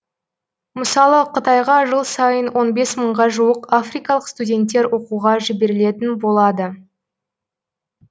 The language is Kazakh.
мысалы қытайға жыл сайын он бес мыңға жуық африкалық студенттер оқуға жіберілетін болады